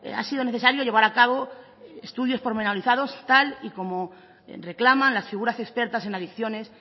ha sido necesario llevar a cabo estudios pormenorizados tal y como reclaman las figuras expertas en adicciones